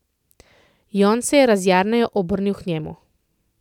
Jon se je razjarjeno obrnil k njemu.